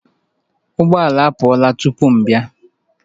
Ụgbọ ala apụọla tupu m abịa